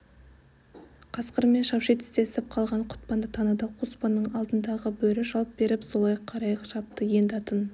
қасқырмен шапши тістесіп қалған құтпанды таныды қоспанның алдындағы бөрі жалт беріп солай қарай шапты енді атын